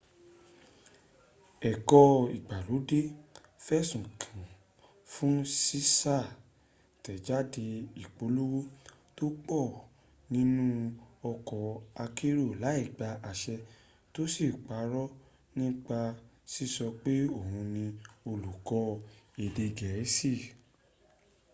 ẹ̀kọ́ ìgbàlódé fẹ̀sùn kàán fún ṣíṣàtẹ̀jáde ìpolówó tó pọ̀ nínu ọkọ̀ akérò láì gba àṣẹ tó sì parọ́ nípa síso pé òhun ní olùkọ́ èdè gẹ̀ẹ́sì